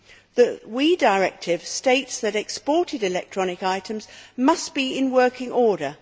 The WEEE Directive states that exported electronic items must be in working order.